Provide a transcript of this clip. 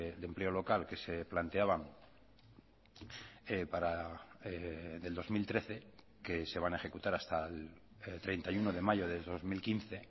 de empleo local que se planteaban del dos mil trece que se van a ejecutar hasta el treinta y uno de mayo de dos mil quince